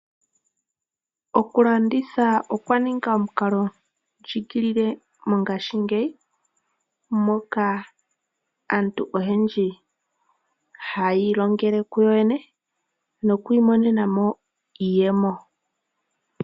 Okulanditha okwa ninga omukalondjigilile mongaashingeyi moka aantu oyendji , hayi ilongele kuyoyene nokwiimonenamo iiyemo.